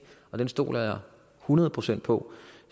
og dem stoler jeg hundrede procent på